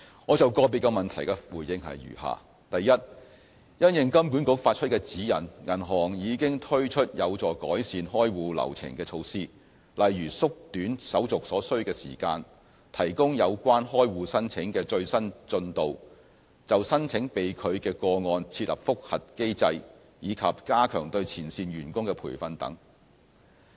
我就個別質詢的回覆如下：一因應金管局發出的指引，銀行已經推出有助改善開戶流程的措施，例如縮短手續所需時間、提供有關開戶申請的最新進度，就申請被拒的個案設立覆核機制，以及加強對前線員工的培訓等。